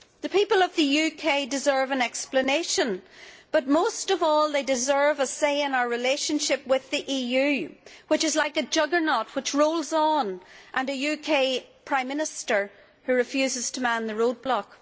The people of the UK deserve an explanation but most of all they deserve a say in our relationship with the EU, which is like a juggernaut which rolls on, while a UK Prime Minister refuses to man the roadblock.